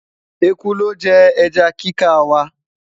ẹkú looje eja kika wa